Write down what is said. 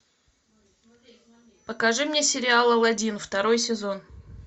покажи мне сериал алладин второй сезон